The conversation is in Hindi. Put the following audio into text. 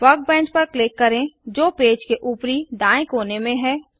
वर्कबेंच पर क्लिक करें जो पेज के ऊपरी दाएँ कोने में है